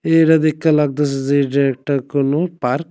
এইটা দেইখ্যা লাগতাছে যে এটা একটা কোনো পার্ক ।